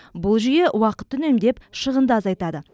бұл жүйе уақытты үнемдеп шығынды азайтады